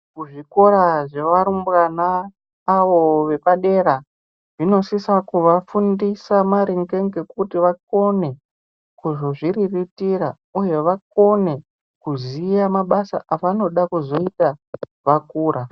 Muzvikora zvevarumbwana avo vepadera zvinosisa kuvafundisa maringe ngekuti vagone kuzozviriritira uye vagone kuziya mabasa avanode kuzoita kana vakura.